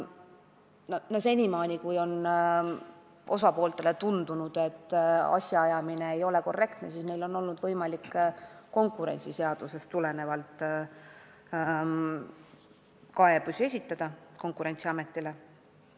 Seni on olnud nii, et kui mõnele osapoolele on tundunud, et asjaajamine ei ole korrektne, siis on olnud võimalik konkurentsiseadusest tulenevalt kaebus esitada Konkurentsiametile.